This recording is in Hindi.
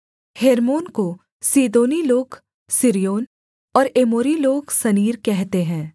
हेर्मोन को सीदोनी लोग सिर्योन और एमोरी लोग सनीर कहते हैं